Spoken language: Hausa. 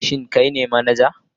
Shin kai ne manaja?